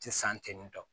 Ti san ten ne tɔ